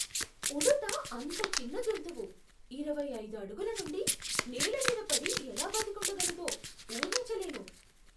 ఉడుత అంత చిన్న జంతువు ఇరవై ఐదు అడుగుల నుండి నేల మీద పడి ఎలా బతికుండగలదో ఊహించలేను.